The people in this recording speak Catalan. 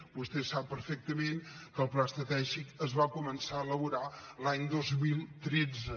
vostè sap perfectament que el pla estratègic es va començar a elaborar l’any dos mil tretze